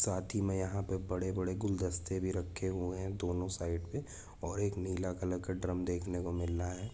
साथी मे यहा पे बड़े बड़े गुलदस्ते भी रहे हुए हे दोनों साइड पे ओर एक नीला कलर का ड्रम देखने को मिल रहा है ।